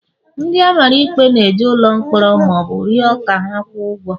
ndị a mara ikpe n' eje n'ụlọ mkpọrọ ma ọ bụ rịọ ka ha kwụọ ụgwọ